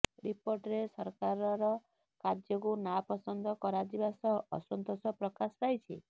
ରିପୋର୍ଟରେ ସରକାରର କାର୍ଯ୍ୟକୁ ନାପସନ୍ଦ କରାଯିବା ସହ ଅସନ୍ତୋଷ ପ୍ରକାଶ ପାଇଛି